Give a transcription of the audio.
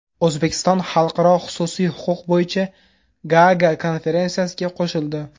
O‘zbekiston Xalqaro xususiy huquq bo‘yicha Gaaga konferensiyasiga qo‘shildi.